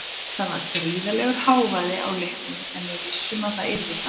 Það var gríðarlegur hávaði á leiknum en við vissum að það yrði þannig.